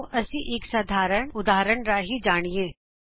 ਆਓ ਅਸੀ ਇਕ ਸਧਾਰਨ ਉਦਾਹਰਨ ਰਾਂਹੀ ਜਾਣੀਏ